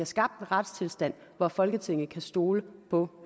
skabt en retstilstand hvor folketinget kan stole på